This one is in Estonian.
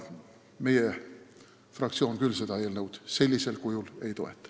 Meie fraktsioon küll seda eelnõu sellisel kujul ei toeta.